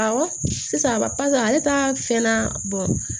Awɔ sisan ba papiye ale ta fɛnna